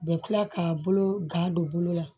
U bɛ tila k'a bolo gan don bolo la